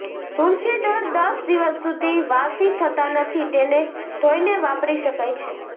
તુલસીદળ દસ દિવસ સુધી વાસી થતાં નથી તેને ધોઈને વાપરી શકાય છે